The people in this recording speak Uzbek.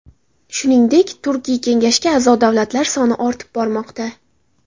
Shuningdek, Turkiy kengashga a’zo davlatlar soni ortib bormoqda.